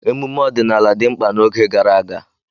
Emume ọdịnala dị mkpa n'oge gara aga.